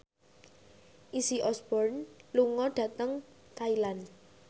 Izzy Osborne lunga dhateng Thailand